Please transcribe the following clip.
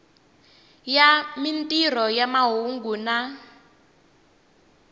ya mintirho ya mahungu na